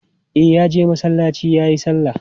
E, ya je masallaci ya yi sallar.